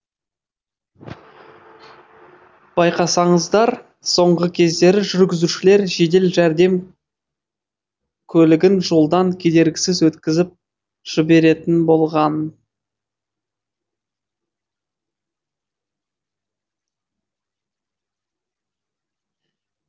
байқасаңыздар соңғы кездері жүргізушілер жедел жәрдем көлігін жолдан кедергісіз өткізіп жіберетін болған